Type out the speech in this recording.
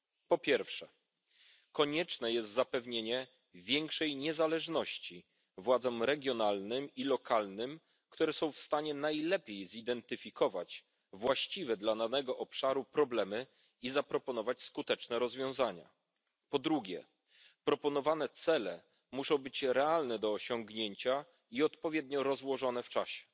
Po pierwsze, konieczne jest zapewnienie większej niezależności władzom regionalnym i lokalnym, które są w stanie najlepiej zidentyfikować właściwie dla danego obszaru problemy i zaproponować skuteczne rozwiązania. Po drugie, proponowane cele muszą być realne do osiągnięcia i odpowiednio rozłożone w czasie.